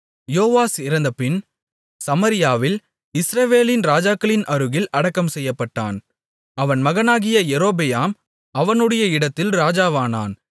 யோவாஸ் இறந்தபின் சமாரியாவில் இஸ்ரவேலின் ராஜாக்களின் அருகில் அடக்கம் செய்யப்பட்டான் அவன் மகனாகிய யெரொபெயாம் அவனுடைய இடத்தில் ராஜாவானான்